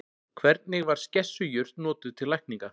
Hvernig var skessujurt notuð til lækninga?